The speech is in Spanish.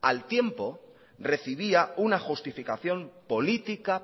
al tiempo recibía una justificación política